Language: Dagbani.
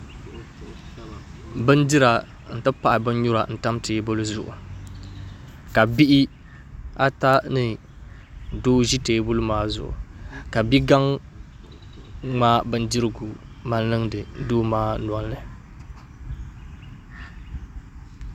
Bindira n ti pahi bin nyura n tam teebuli zuɣu ka bihi ata ni doo ʒi teebuli maa zuɣu ka bia gaŋ ŋmaai bindirigu mali niŋdi doo maa nolini